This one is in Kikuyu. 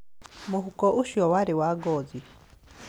Mũhuko ũcio warĩ wa ngothi.